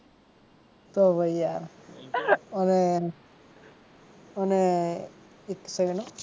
તો પછી યાર અને અને અને એક સેકંડ હો